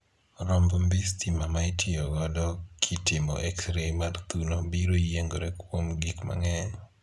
Romb mbii stima ma itiyo godo kitimo exrei mar thuno biro yiengore kuom gik mang'eny.